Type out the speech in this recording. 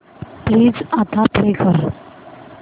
please आता play कर